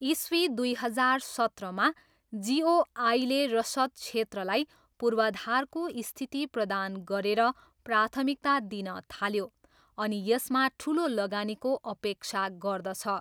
इस्वी दुई हजार सत्रमा जिओआईले रसद क्षेत्रलाई पूर्वाधारको स्थिति प्रदान गरेर प्राथमिकता दिन थाल्यो अनि यसमा ठुलो लगानीको अपेक्षा गर्दछ।